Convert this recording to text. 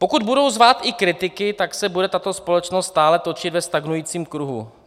"Pokud budou zvát i kritiky, tak se bude tato společnost stále točit ve stagnujícím kruhu.